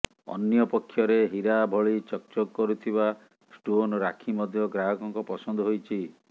ଅନ୍ୟ ପକ୍ଷରେ ହୀରା ଭଳି ଚକ୍ ଚକ୍ କରୁଥିବା ଷ୍ଟୋନ୍ ରାକ୍ଷୀ ମଧ୍ୟ ଗ୍ରାହକଙ୍କ ପସନ୍ଦ ହୋଇଛି